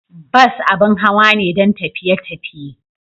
Bus abin hawa ne don tafiye tafiye.